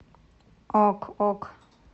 ок ок